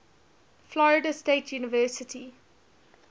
florida state university